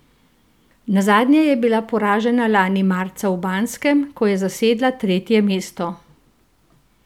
Nazadnje je bila poražena lani marca v Banskem, ko je zasedla tretje mesto.